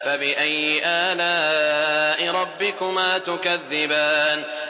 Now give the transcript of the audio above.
فَبِأَيِّ آلَاءِ رَبِّكُمَا تُكَذِّبَانِ